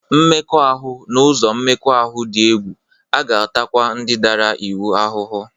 Mmekọahụ n'ụzọ mmekọahụ dị egwu, a ga-atakwa ndị dara iwu ahụhụ